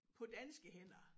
På danske hænder